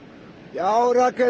já Rakel